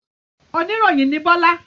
Oníròyìn ni Bọ́lá?